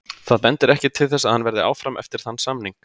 Það bendir ekkert til þess að hann verði áfram eftir þann samning.